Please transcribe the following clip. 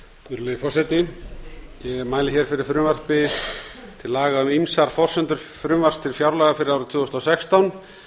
virðulegi forseti ég mæli með fyrir frumvarpi til laga um ýmsar forsendur frumvarps til fjárlaga fyrir árið tvö þúsund og sextán